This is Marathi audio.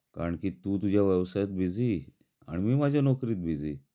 कारण की तू तुझ्या व्यवसायात बिझी, आणि मि माझी नोकरीत बिझी